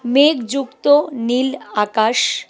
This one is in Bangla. মেঘ যুক্ত নীল আকাশ।